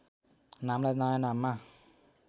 नामलाई नयाँ नाममा